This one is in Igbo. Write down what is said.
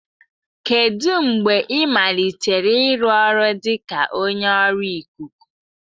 Kedu mgbe ị malitere ịrụ ọrụ dị ka onye ọrụ ikuku?